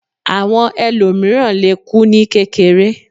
Àwọn ẹlòmìíràn lè kú ní kékeré